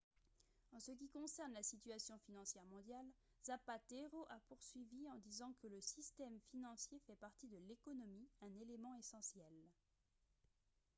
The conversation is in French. "en ce qui concerne la situation financière mondiale zapatero a poursuivi en disant que "le système financier fait partie de l’économie un élément essentiel.